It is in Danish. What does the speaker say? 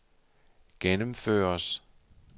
gennemføres